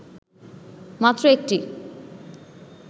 মাত্র ১টি